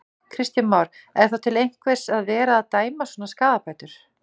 Kristján Már: Er þá til einhvers að vera að dæma svona skaðabætur?